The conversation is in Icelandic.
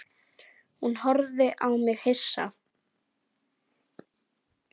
Hún horfði á mig hissa.